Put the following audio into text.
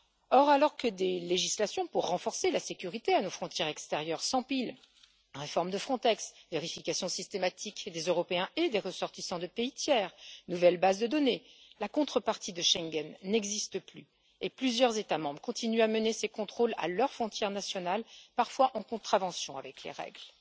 Or, alors que des législations pour renforcer la sécurité à nos frontières extérieures s'empilent réforme de Frontex, vérification systématique des Européens et des ressortissants de pays tiers, nouvelles bases de données la contrepartie de Schengen n'existe plus et plusieurs États membres continuent à mener ces contrôles à leurs frontières nationales, parfois en contravention avec les règles.